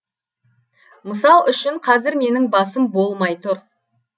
мысал үшін қазір менің басым болмай тұр